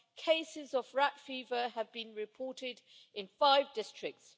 Cases of rat fever have been reported in five districts.